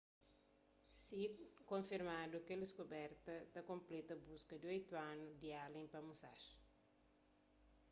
si konfirmadu kel diskuberta ta konpleta buska di oitu anu di allen pa musashi